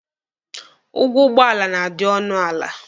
Ụgwọ ụgbọala na-adị ọnụ ala.